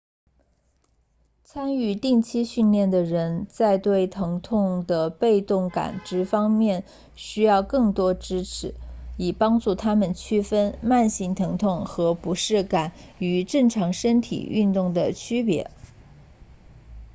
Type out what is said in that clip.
参与定期训练的人在对疼痛的被动感知方面需要更多支持以帮助他们区分慢性疼痛和不适感与正常身体运动的区别